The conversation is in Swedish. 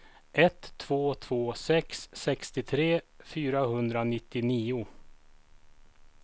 ett två två sex sextiotre fyrahundranittionio